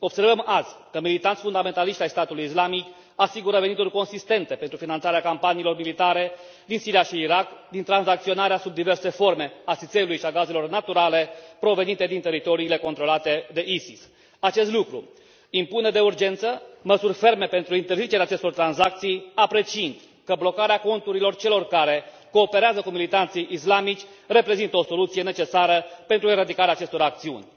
Observăm azi că militanți fundamentaliști ai statului islamic asigură venituri consistente pentru finanțarea campaniilor militare din Siria și Irak, din tranzacționarea sub diverse forme a țițeiului și a gazelor naturale provenite din teritoriile controlate de ISIS. Acest lucru impune de urgență măsuri ferme pentru interzicerea acestor tranzacții, apreciind că blocarea conturilor celor care cooperează cu militanții islamici reprezintă o soluție necesară pentru eradicarea acestor acțiuni.